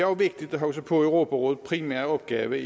vigtigt at huske på europarådets primære opgave